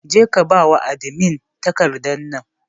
Jeka bada takardar nan a adimi!